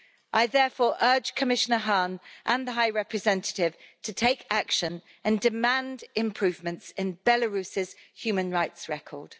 I therefore urge Commissioner Hahn and the High Representative to take action and demand improvements in Belarus' human rights record.